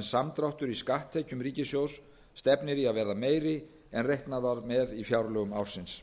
en samdráttur í skatttekjum ríkissjóðs stefnir í að verða meiri en reiknað var með í fjárlögum ársins